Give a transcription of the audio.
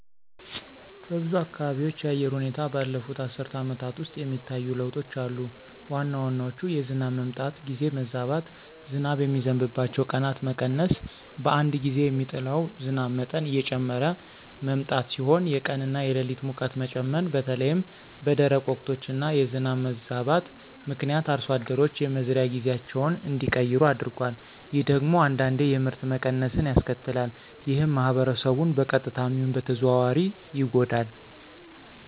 በብዙ አካባቢዎች የአየር ሁኔታ ባለፉት አስርት ዓመታት ውስጥ የሚታዩ ለውጦች አሉ። ዋና ዋናዎቹ የዝናብ መምጣት ጊዜ መዛባት፣ ዝናብ የሚዘንብባቸው ቀናት መቀነስ፣ በአንድ ጊዜ የሚጥለው ዝናብ መጠን እየጨመረ መምጣት ሲሆኑ የቀን እና የሌሊት ሙቀት መጠን መጨመር በተለይም በደረቅ ወቅቶች እና የዝናብ መዛባት ምክንያት አርሶ አደሮች የመዝሪያ ጊዜያቸውን እንዲቀይሩ አድርጓል። ይህ ደግሞ አንዳንዴ የምርት መቀነስን ያስከትላል። ይህም ማህበረሰቡን በቀጥታም ይሁን በተዘዋዋሪ ይጎዳል።